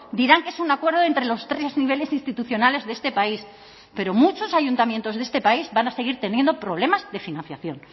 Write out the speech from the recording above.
dirán que es un acuerdo entre los tres niveles institucionales de este país pero muchos ayuntamientos de este país van a seguir teniendo problemas de financiación